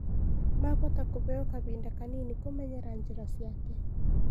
Mahota kũheo kahinda Kanini kũmenyera njĩra ciake